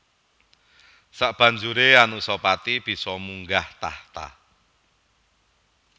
Sabanjuré Anusapati bisa munggah tahta